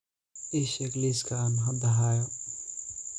ii sheeg liiska aan hadda hayo